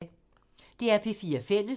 DR P4 Fælles